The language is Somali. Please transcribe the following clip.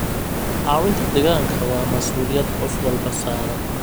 Caawinta deegaanka waa masuuliyad qof walba saaran.